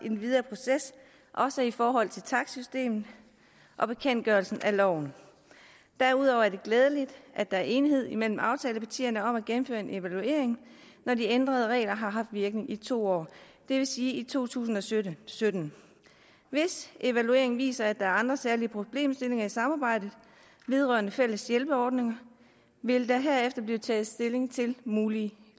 videre proces også i forhold til takstsystemet og bekendtgørelsen af loven derudover er det glædeligt at der er enighed imellem aftalepartierne om at gennemføre en evaluering når de ændrede regler har haft virkning i to år det vil sige i to tusind og sytten sytten hvis evalueringen viser at der er andre særlige problemstillinger i samarbejdet vedrørende fælles hjælpeordninger vil der herefter blive taget stilling til mulige